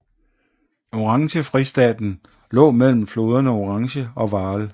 Oranjefristaten lå mellem floderne Oranje og Vaal